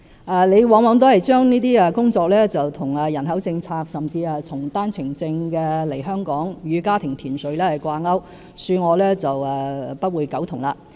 范議員往往把這些工作與人口政策，甚至與經單程證來港與家庭團聚的政策掛鈎，恕我不會苟同。